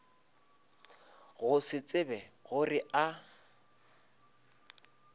go se tsebe gore a